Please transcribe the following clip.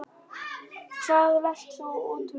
Hvað lest þú út úr þessu?